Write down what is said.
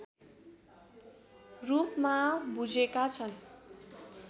रूपमा बुझेका छन्